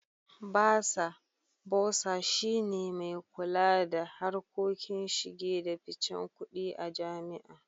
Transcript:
Basa (Bursar) shi ne mai kula da harkokin shige da ficen kudi a jami'a.